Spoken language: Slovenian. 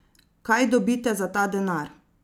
Kaj dobite za ta denar?